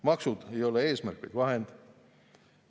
Maksud ei ole eesmärk, vaid vahend.